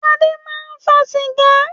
Adé máa ń fa sìgá.